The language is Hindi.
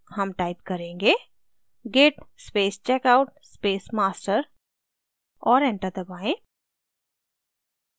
हम type करेंगे git space checkout space master और enter दबाएँ